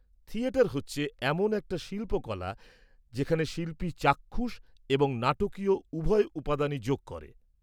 -Theatre হচ্ছে এমন একটা শিল্পকলা যেখানে শিল্পী চাক্ষুষ এবং নাটকীয় উভয় উপাদানই যোগ করে।